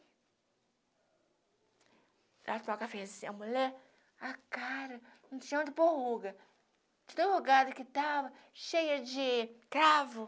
Ela tomava café a mulher, a cara, não tinha onde por ruga, enrugada que estava, cheia de cravo.